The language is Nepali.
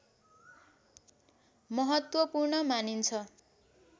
महत्त्वपूर्ण मानिन्छ